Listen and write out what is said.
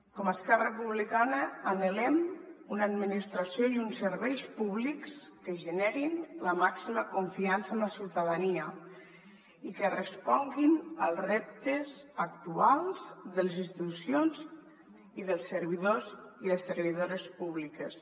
com a esquerra republicana anhelem una administració i uns serveis públics que generin la màxima confiança en la ciutadania i que responguin als reptes actuals de les institucions i dels servidors i les servidores públiques